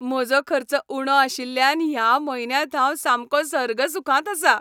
म्हजो खर्च उणो आशिल्ल्यान ह्या म्हयन्यांत हांव सामको सर्गसुखांत आसां.